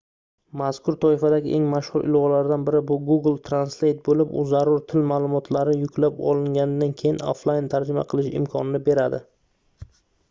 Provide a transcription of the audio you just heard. mazkur toifadagi eng mashhur ilovalardan biri bu google translate boʻlib u zarur til maʼlumotlari yuklab olinganidan keyin oflayn tarjima qilish imkonini beradi